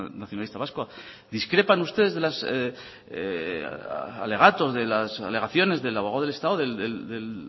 nacionalista vasco discrepan ustedes de los alegatos de las alegaciones del abogado del estado del